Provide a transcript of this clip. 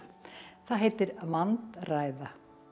það heitir vandræða